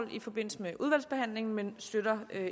i forbindelse med udvalgsbehandlingen men støtter